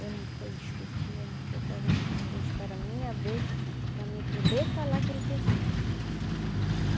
Eu não vou discutir, eu não vou coisar não, mas eu espero a minha vez para mim poder falar aquilo que eu sinto.